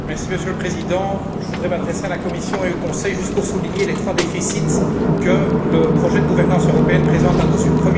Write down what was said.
Monsieur le Président, je voudrais m'adresser à la Commission et au Conseil juste pour souligner les trois déficits que le projet de gouvernance européenne présente à nos yeux.